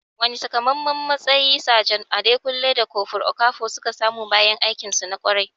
Wane takamaiman matsayi Sajan Adekunle da Kofur Okafor suka samu bayan aikinsu na ƙwarai?